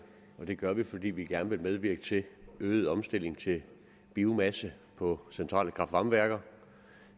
og det gør vi fordi vi gerne vil medvirke til øget omstilling til biomasse på centrale kraftvarmeværker